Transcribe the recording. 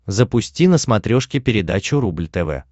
запусти на смотрешке передачу рубль тв